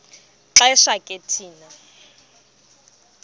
xesha ke thina